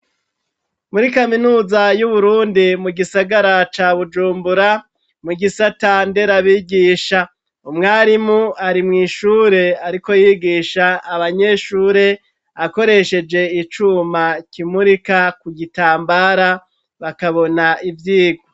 Muri kaminuza y'Uburundi mu gisagara ca Bujumbura, mu gisata nderabigisha, umwarimu ari mw'ishure ariko yigisha abanyeshure akoresheje icuma kimurika ku gitambara bakabona ivyigwa.